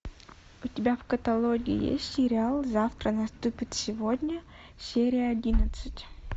у тебя в каталоге есть сериал завтра наступит сегодня серия одиннадцать